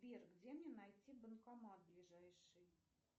сбер где мне найти банкомат ближайший